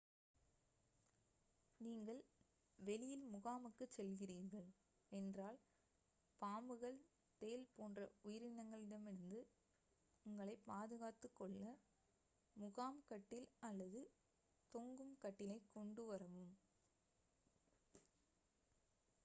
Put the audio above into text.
நீங்கள் வெளியில் முகாமுக்குச் செல்கிறீர்கள் என்றால் பாம்புகள் தேள் போன்ற உயிரினங்களிடமிருந்து உங்களைப் பாதுகாத்துக்கொள்ள முகாம் கட்டில் அல்லது தொங்கும் கட்டிலைக் கொண்டுவரவும்